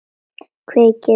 Kveikir í.